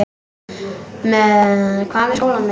Hvað með skólann minn?